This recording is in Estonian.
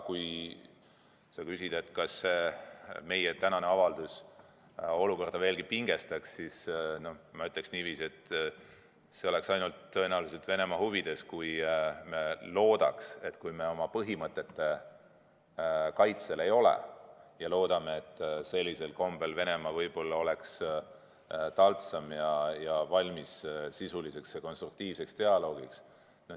Kui sa küsid, kas meie tänane avaldus olukorda veelgi ei pingesta, siis ma ütlen niiviisi, et see oleks tõenäoliselt Venemaa huvides, kui me loodaks, et kui me oma põhimõtteid ei kaitse, siis on Venemaa võib-olla taltsam ning valmis sisuliseks ja konstruktiivseks dialoogiks.